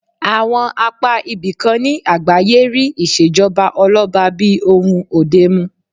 Àwọn apá ibìkan ní àgbáyé rí ìṣèjọba ọlọ́ba bí ohun òde mu